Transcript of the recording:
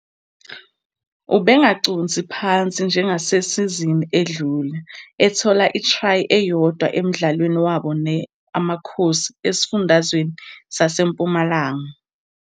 Ubengaconsi phansi njengasesizini edlule, ethola itry eyodwa emdlalweni wabo ne Amakhosi Esifundazwe SaseMpumalanga.